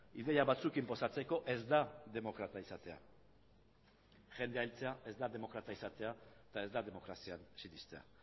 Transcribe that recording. ideia batzuk inposatzeko ez da demokrata izatea jendea hiltzea ez da demokrata izatea eta ez da demokrazian sinestea